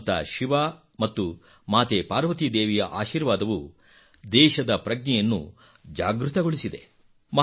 ಭಗವಂತ ಶಿವ ಮತ್ತು ಮಾತೆ ಪಾರ್ವತಿ ದೇವಿಯ ಆಶೀರ್ವಾದವು ದೇಶದ ಪ್ರಜ್ಞೆಯನ್ನು ಜಾಗೃತಗೊಳಿಸಿದೆ